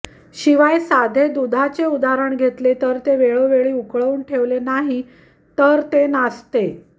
शिवाय साधे दुधाचे उदाहरण घेतले तर ते वेळोवेळी उकळवून ठेवले नाही तर ते नासते